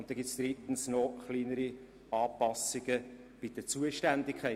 Und dann gibt es drittens noch kleinere Anpassungen bei den Zuständigkeiten.